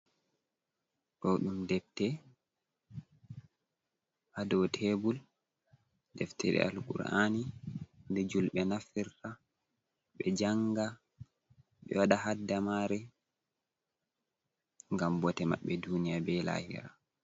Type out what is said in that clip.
Do ɗum ɗebte ha dow tebur ɗeftere alkurani ɗe julɓe naftira ɓe janga ɓe wada hadda mare ngam ɓo te maɓɓe duniya be lahira.